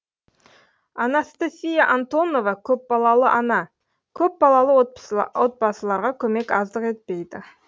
анастасия антонова көпбалалы ана көпбалалы отбасыларға көмек аздық етпейді